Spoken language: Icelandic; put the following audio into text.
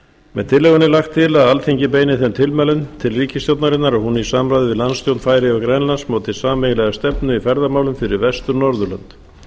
með tillögunni er lagt til að alþingi beini þeim tilmælum til ríkisstjórnarinnar að hún í samráði við landsstjórnir færeyja og grænlands móti sameiginlega stefnu í ferðamálum fyrir vestur norðurlönd